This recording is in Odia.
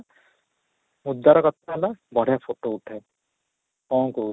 ଉଦାର କଥା ହେଲା ବଢିଆ photo ଉଠାଏ କ'ଣ କହୁଛୁ?